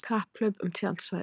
Kapphlaup um tjaldsvæði